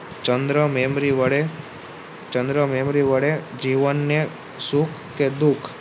ચંદ્ર Memory વડે ચંદ્ર memory વડે જીવનને સુખ કે દુઃખ